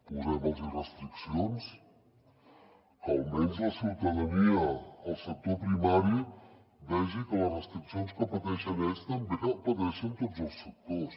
posem los restriccions que almenys la ciutadania el sector primari vegi que les restriccions que pateixen ells també les pateixen tots els sectors